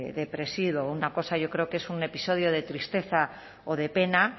depresivo una cosa yo creo que es un episodio de tristeza o de pena